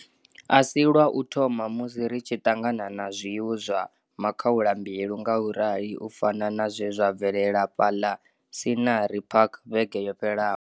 A si lwa u thoma musi ri tshi ṱangana na zwiwo zwa makhaulambilu ngaurali u fana na zwe zwa bvelela fhaḽa Scenery Park vhege yo fhelaho.